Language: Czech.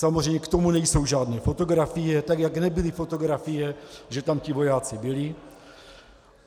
Samozřejmě k tomu nejsou žádné fotografie, tak jak nebyly fotografie, že tam ti vojáci byli.